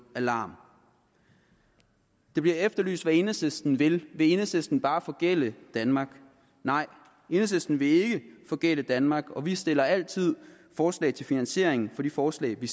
alarm der bliver efterlyst hvad enhedslisten vil vil enhedslisten bare forgælde danmark nej enhedslisten vil ikke forgælde danmark og vi stiller altid forslag til finansiering af de forslag vi